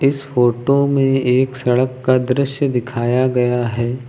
इस फोटो में एक सड़क का दृश्य दिखाया गया है।